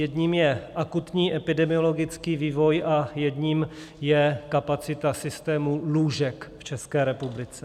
Jedním je akutní epidemiologický vývoj a jedním je kapacita systému lůžek v České republice.